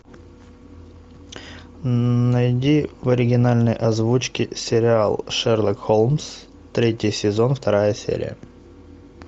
найди в оригинальной озвучке сериал шерлок холмс третий сезон вторая серия